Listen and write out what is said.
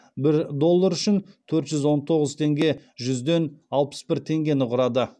бір доллар үшін төрт жүз он тоғыз бүтін жүзден алпыс бір теңгені құраған